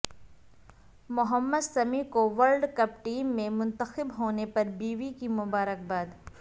محمد سمیع کو world cup team میں منتخب ہونے پر بیوی کی مبارکباد